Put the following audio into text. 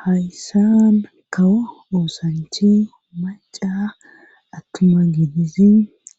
hayssan kawo oosanchi maca attuma gidizin